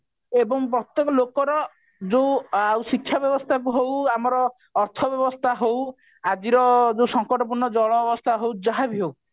ଏବଂ ପ୍ରତ୍ଯେକ ଲୋକର ଯୋଉ ଆଉ ଶିକ୍ଷା ବ୍ୟବସ୍ଥାକୁ ହଉ ଆମର ଅର୍ଥ ବ୍ୟବସ୍ଥାକୁ ହଉ ଆଜିର ଯୋଉ ସଙ୍କଟ ପୂର୍ଣ୍ଣ ଜଳ ଅବସ୍ଥା ହଉ ଯାହାବି ହଉ